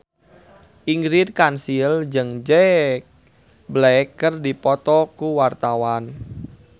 Ingrid Kansil jeung Jack Black keur dipoto ku wartawan